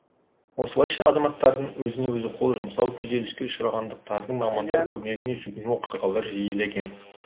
осылайша азаматтардың өзіне өзі қол жұмсау күйзеліске ұшырағандардың мамандар көмегіне жүгіну оқиғалары жиілеген